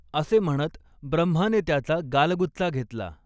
असे म्हणत ब्रह्माने त्याचा गालगुच्चा घेतला.